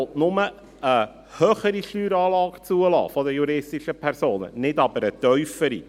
Dieser will nur eine höhere Steueranlage für juristische Personen zulassen, nicht aber eine tiefere.